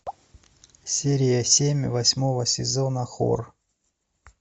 серия семь восьмого сезона хор